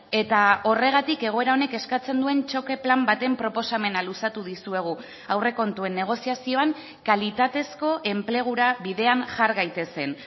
eta horregatik egoera honek eskatzen duen txoke plan baten proposamena luzatu dizuegu aurrekontuen negoziazioan kalitatezko enplegura bidean jar gaitezen